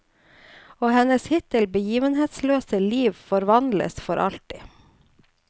Og hennes hittil begivenhetsløse liv forvandles for alltid.